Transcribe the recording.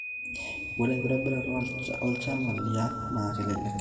ore enkitobirata olchala liang' naa kelelek